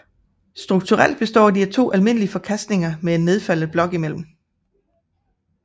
Strukturelt består de af to almindelige forkastninger med en nedfaldet blok imellem